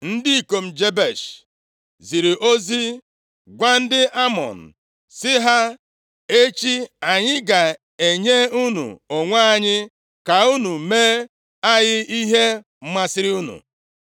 Ndị ikom Jebesh ziri ozi gwa ndị Amọn sị ha, “Echi, anyị ga-enye unu onwe anyị, ka unu mee anyị ihe masịrị unu.”